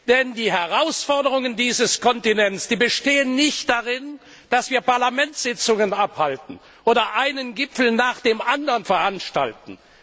Denn die Herausforderungen für diesen Kontinent bestehen nicht darin, dass wir Parlamentssitzungen abhalten oder einen Gipfel nach dem anderen veranstalten.